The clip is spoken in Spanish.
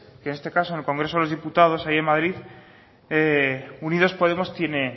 que en este caso en el congreso de los diputados allí en madrid unidos podemos tiene